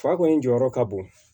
Fa kɔni jɔyɔrɔ ka bon